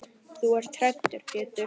Þú ert hræddur Pétur.